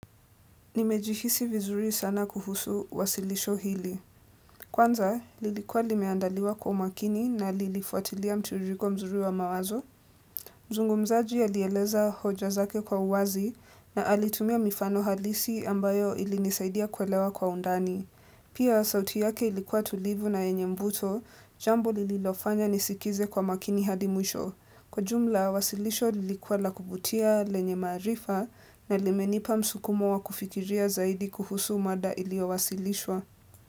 Nimejihisi vizuri sana kuhusu wasilisho hili. Kwanza, lilikuwa limeandaliwa kwa umakini na lilifuatilia mtiririko mzuri wa mawazo. Mzungumzaji alieleza hoja zake kwa uwazi na alitumia mifano halisi ambayo ilinisaidia kuelewa kwa undani. Pia, sauti yake ilikuwa tulivu na yenye mvuto, jambo lililofanya nisikize kwa makini hadi mwisho. Kwa jumla, wasilisho lilikuwa la kuvutia lenye maarifa na limenipa msukumo wa kufikiria zaidi kuhusu mada iliyowasilishwa.